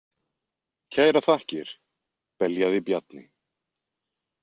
Kærar þakkir, beljaði Bjarni.